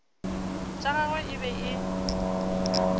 tša gagwe e be e